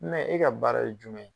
e ka baara ye jumɛn?